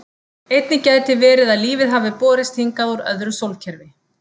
Einnig gæti verið að lífið hafi borist hingað úr öðru sólkerfi.